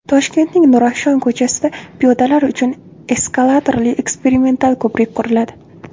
Toshkentning Nurafshon ko‘chasida piyodalar uchun eskalatorli eksperimental ko‘prik quriladi.